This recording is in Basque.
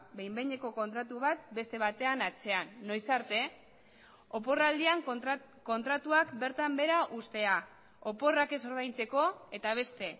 behin behineko kontratu bat beste batean atzean noiz arte oporraldian kontratuak bertan behera uztea oporrak ez ordaintzeko eta beste